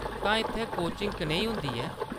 तां इत्थै कोचिंग कनेही होंदी ऐ ?